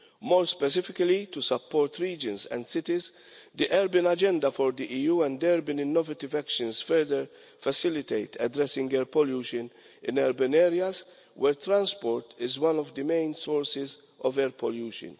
More specifically, to support regions and cities, in the urban agenda for the EU there have been innovative actions to further facilitate addressing air pollution in urban areas where transport is one of the main sources of air pollution.